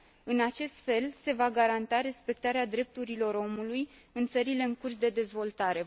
În acest fel, se va garanta respectarea drepturilor omului în țările în curs de dezvoltare.